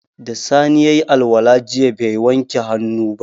Da sani yayi alwala jiya bai wanke hannu ba